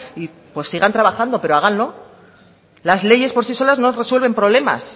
pues sigan trabajando pero háganlo las leyes por sí solas no resuelven problemas